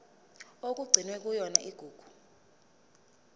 okugcinwe kuyona igugu